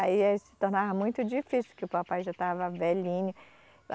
Aí, aí se tornava muito difícil, que o papai já estava velhinho.